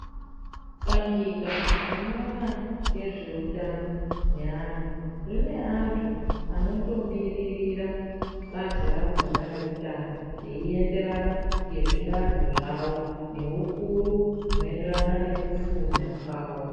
Bandika rinoona nezveutano hweana rine antu anotomiririra bazi rakhona reutano veienderana ngezvidanho zvavo neukuru hunoenderana nekufunda kwawo.